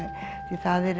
það eru